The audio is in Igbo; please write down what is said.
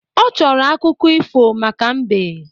Ọ chọrọ akụkọ ifo maka mbe